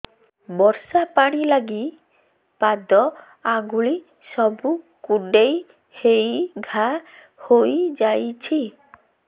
ବର୍ଷା ପାଣି ଲାଗି ପାଦ ଅଙ୍ଗୁଳି ସବୁ କୁଣ୍ଡେଇ ହେଇ ଘା ହୋଇଯାଉଛି